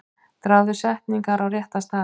Dragðu setningar á rétta staði.